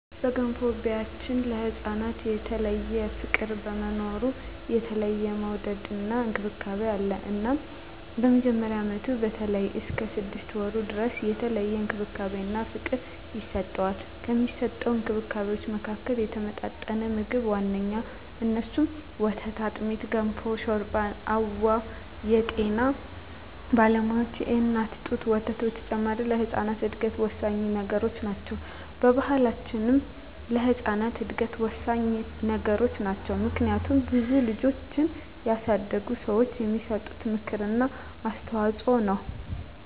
በገንፎ ቢያችን ለህፃናት የተለየ ፍቅር በመኖሩ የተለየ መወደድና እንክብካቤ አለ እናም በመጀመሪያ አመቱ በተለይም እስከ ስድስት ወሩ ድረስ የተለየ እንክብካቤና ፍቅር ይሰጠዋል። ከሚሰጠዉ እንክብካቤወች መካከልም የተመጣጠነ ምግብ ዋነኛዉ እነሱም፦ ወተት፣ አጥሚት፣ ገንፎ፣ ሾርባ አወ የጤና ባለሙያዋች የእናት ጡት ወተት በተጨማሪ ለህጻናት እድገት ወሳኚ ነገሮች ናቸው። በባሕላችንም ለህጻናት እድገት ወሳኚ ነገሮች ናቸው። ምክንያቱም ብዙ ልጆችን ያሳደጉ ሰዋች የሚሰጡት ምክር እና አስተዋጾ ነው።